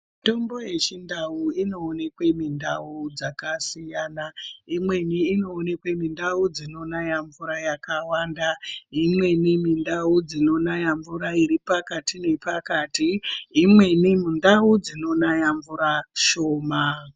Mitombo yechindau inoonekwe mundau dzakasiyana imweni inoonekwe mundau dzinonaya mvura yakawanda, imweni mundau dzinonaya mvura iri pakati nepakati, imweni mundau dzinonaya mvura shoma.